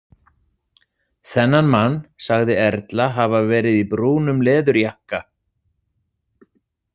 Þennan mann sagði Erla hafa verið í brúnum leðurjakka.